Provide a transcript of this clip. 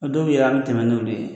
O doye yɛrɛ a bi tɛmɛ n'olu ye